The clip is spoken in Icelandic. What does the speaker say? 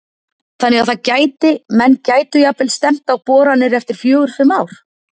Þannig að það gæti, menn gætu jafnvel stefnt á boranir eftir fjögur, fimm ár?